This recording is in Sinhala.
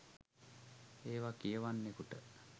ඒවා කියවන්නෙකුට